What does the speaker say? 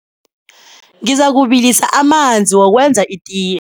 Ngizakubilisa amanzi wokwenza itiye.